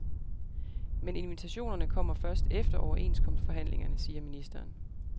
Men invitationerne kommer først efter overenskomstforhandlingerne, siger ministeren.